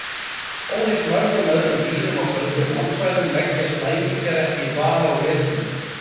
Ólíkt mörgum öðrum dýrum á köldum landsvæðum leggjast læmingjar ekki í dvala á veturna.